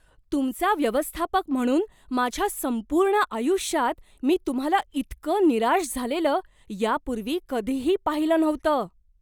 तुमचा व्यवस्थापक म्हणून माझ्या संपूर्ण आयुष्यात मी तुम्हाला इतकं निराश झालेलं यापूर्वी कधीही पाहिलं नव्हतं.